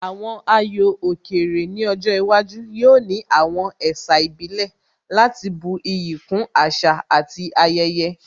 Àwọn ayò òkè rè ní ọjọ́ iwájú yóò ní àwọn ẹ̀sà ìbílẹ̀ láti bu iyì kún àṣà àti ayẹyẹ